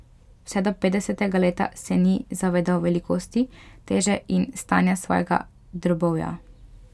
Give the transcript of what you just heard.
Vse do petdesetega leta se ni zavedal velikosti, teže in stanja svojega drobovja.